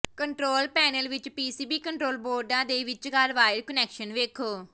control panel ਵਿੱਚ PCB control ਬੋਰਡਾਂ ਦੇ ਵਿਚਕਾਰ ਵਾਇਰ ਕੁਨੈਕਸ਼ਨ ਵੇਖੋ